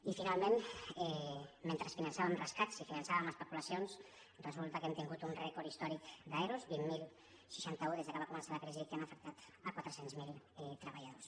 i finalment mentre finançàvem rescats i finançàvem especulacions resulta que hem tingut un rècord històric d’ero vint mil seixanta u des que va començar la crisi que han afectat quatre cents miler treballadors